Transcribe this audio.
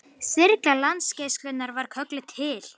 Þyrla Landhelgisgæslunnar var kölluð til